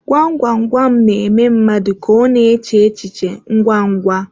Gwam gwam gwam na-eme mmadụ ka ọ na-eche echi che ngwa ngwa.